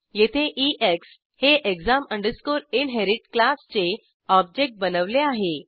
येथे ईएक्स हे exam inherit क्लासचे ऑब्जेक्ट बनवले आहे